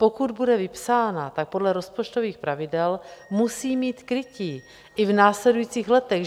Pokud bude vypsána, tak podle rozpočtových pravidel musí mít krytí i v následujících letech.